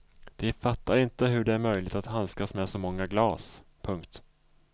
De fattar inte hur det är möjligt att handskas med så många glas. punkt